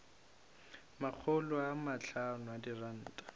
makgolo a mahlano a diranta